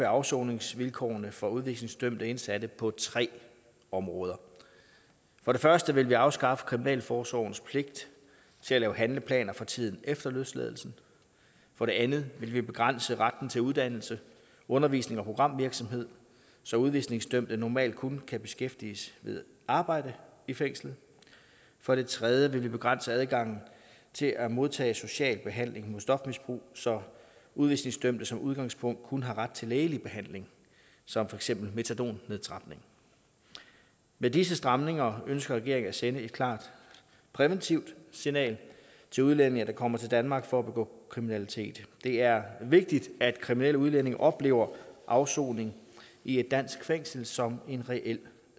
afsoningsvilkårene for udvisningsdømte indsatte på tre områder for det første vil vi afskaffe kriminalforsorgens pligt til at lave handleplaner for tiden efter løsladelsen for det andet vil vi begrænse retten til uddannelse undervisning og programvirksomhed så udvisningsdømte normalt kun kan beskæftiges ved arbejde i fængslet for det tredje vil vi begrænse adgangen til at modtage social behandling mod stofmisbrug så udvisningsdømte som udgangspunkt kun har ret til lægelig behandling som for eksempel metadonnedtrapning med disse stramninger ønsker regeringen at sende et klart præventivt signal til udlændinge der kommer til danmark for at begå kriminalitet det er vigtigt at kriminelle udlændinge oplever afsoning i et dansk fængsel som en reel